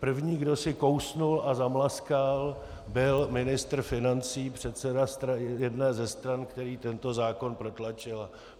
První, kdo si kousl a zamlaskal, byl ministr financí, předseda jedné ze stran, který tento zákon protlačil.